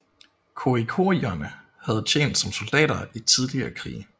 Khoikhoierne havde tjent som soldater i tidligere krige